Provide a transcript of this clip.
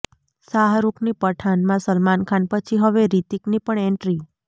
શાહરૂખની પઠાનમાં સલમાન ખાન પછી હવે રિતીકની પણ એન્ટ્રી